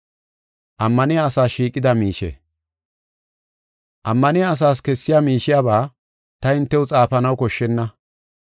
Ammaniya asaas kessiya miishiyaba ta hintew xaafanaw koshshenna.